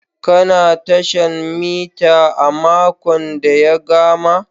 Ka na tashan mita a makon da ya gama?